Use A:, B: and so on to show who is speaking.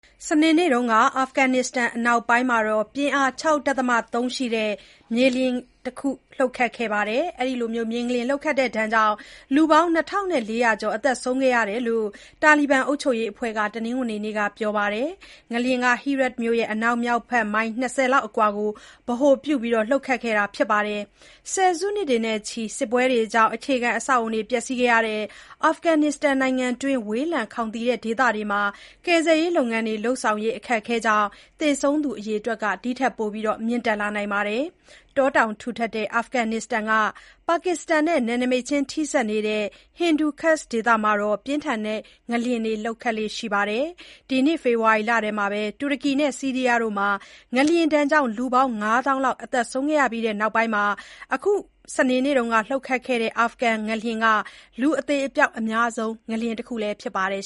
A: စနေနေ့က အာဖဂန်နစ္စတန်အနောက်ပိုင်းမှာ ပြင်းအား ၆.၃ ရှိတဲ့ မြေငလျင်တခုလှုပ်ခတ်ခဲ့တဲ့ အတွက် လူ ၂၄၀၀ ကျော်သေဆုံးခဲ့တဲ့ အကြောင်း တာလီဘန်အုပ်ချုပ်ရေးအဖွဲ့က တနင်္ဂနွေနေ့က ပြောပါတယ်။ ငလျင်က Herat မြို့ အနောက်မြောက်ဘက်မိုင် ၂၀ လောက်အကွာကို ဗဟိုပြုပြီး လှုပ်ခတ်ခဲ့တာပါ။ ဆယ်စုနှစ်တွေတိုင်အောင် စစ်ပွဲတွေကြောင့် အခြေခံအဆောက်အအုံတွေပျက်စီးခဲ့ရတဲ့ နိုင်ငံတွင်း ဝေးလံခေါင်သီတဲ့ဒေသတွေမှာ ကယ်ဆယ်ရေးလုပ်ငန်းတွေလုပ်ဆောင်ရေး အခက်အခဲကြောင့် သေဆုံးသူ အရေအတွက်က ဒီထက်မြင့်တက်လာနိုင်ပါတယ်။ တောတောင်ထူထပ်တဲ့ အာဖဂန်နစ္စတန်က ပါကစ္စတန်နဲ့ နယ်နိမိတ်ချင်းထိစပ်နေတဲ့ Hindu Kush ဒေသမှာ ပြင်းထန်တဲ့ ငလျင်တွေလှုပ်ခတ်လေ့ရှိတာပါ။ ဒီနှစ် ဖေဖော်ဝါရီလထဲ တူရကီနဲ့ ဆီးရီးယားတို့မှာ ငလျင်ကြောင့် လူ ငါးသောင်းလောက်သေဆုံးခဲ့ရပြီးနောက်ပိုင်း အခု အာဖဂန်ငလျင်က လူအသေအပျောက်အများဆုံး ငလျင်တခုလည်းဖြစ်ပါတယ်